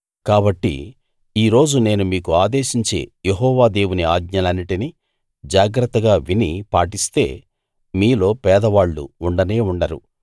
కాబట్టి ఈ రోజు నేను మీకు ఆదేశించే యెహోవా దేవుని ఆజ్ఞలన్నిటినీ జాగ్రత్తగా విని పాటిస్తే మీలో పేదవాళ్ళు ఉండనే ఉండరు